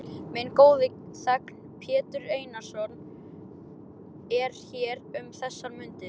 Minn góði þegn, Pétur Einarsson, er hér um þessar mundir.